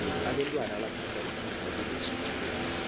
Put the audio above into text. abentwana bathanda ukudla okuneswigiri